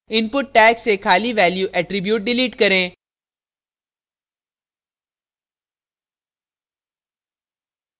input tag से खाली value attribute delete करें